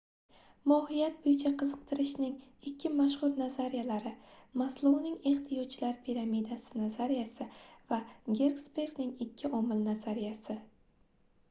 mohiyat boʻyicha qiziqtirishning ikki mashhur nazariyalari maslouning ehtiyojlar piramidasi nazariyasi va gersbergning ikki omil nazariyasi